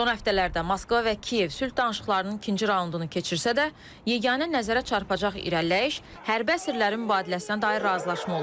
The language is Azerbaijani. Son həftələrdə Moskva və Kiyev sülh danışıqlarının ikinci raundunu keçirsə də, yeganə nəzərə çarpacaq irəliləyiş hərbi əsirlərin mübadiləsinə dair razılaşma olub.